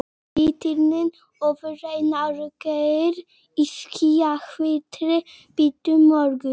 Litirnir ofur raunverulegir í skjannahvítri birtu morgunsins.